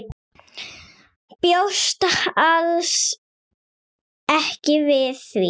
Bjóst alls ekki við því.